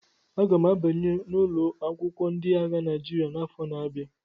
Aga m abanye n'ụlọ akwụkwọ ndị agha Naịjirịa n'afọ na-abia